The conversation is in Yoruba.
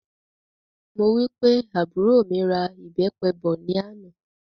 Mo wí pé àbúrò mí ra ìbépe bọ̀ ní àná